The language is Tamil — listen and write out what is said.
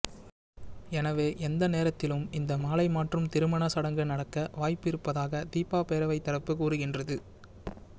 எனவே எந்த நேரத்திலும் இந்த மாலை மாற்றும் திருமண சடங்கு நடக்க வாய்ப்பு இருப்பதாக தீபா பேரவை தரப்பு கூறுகின்றது